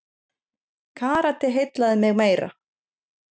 Karate heillaði mig meira.